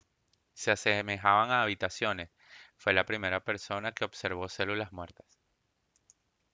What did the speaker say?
se asemejaban a habitaciones fue la primera persona que observó células muertas